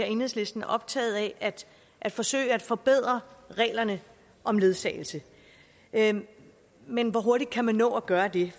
enhedslisten optaget af at forsøge at forbedre reglerne om ledsagelse men men hvor hurtigt kan man nå at gøre det